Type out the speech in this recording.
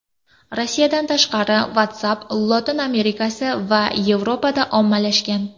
Rossiyadan tashqari WhatsApp Lotin Amerikasi va Yevropada ommalashgan.